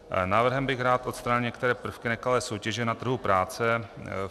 Návrhem bych rád odstranil některé prvky nekalé soutěže na trhu práce.